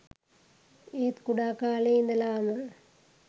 ඒත් කුඩා කාලයේ ඉඳලාම